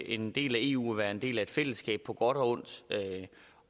en del af eu er at være en del af et fællesskab på godt og ondt